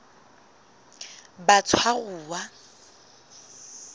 batshwaruwa